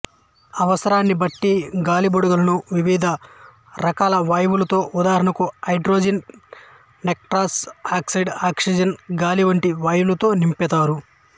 అవసరాన్ని బట్టి గాలిబుడగలను వివిధ రకాల వాయువులతో ఉదాహరణకు హైడ్రోజన్ నైట్రస్ ఆక్సైడ్ ఆక్సిజన్ గాలి వంటి వాయువులతో నింపుతారు